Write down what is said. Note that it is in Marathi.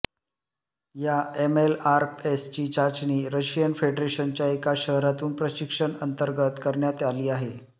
या एमएलआरएसची चाचणी रशियन फेडरेशनच्या एका शहरातून प्रशिक्षण अंतर्गत करण्यात आली आहे